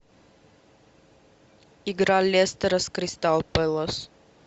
игра лестера с кристал пэлас